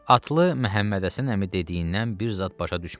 Atlı Məhəmmədhəsən əmi dediyindən bir zad başa düşmədi.